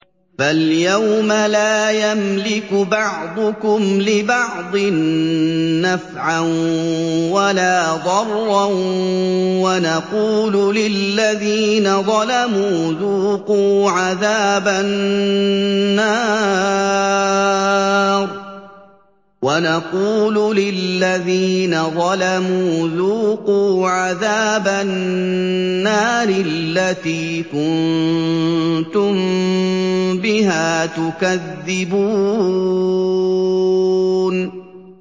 فَالْيَوْمَ لَا يَمْلِكُ بَعْضُكُمْ لِبَعْضٍ نَّفْعًا وَلَا ضَرًّا وَنَقُولُ لِلَّذِينَ ظَلَمُوا ذُوقُوا عَذَابَ النَّارِ الَّتِي كُنتُم بِهَا تُكَذِّبُونَ